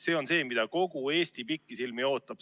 See on see, mida kogu Eesti pikisilmi ootab.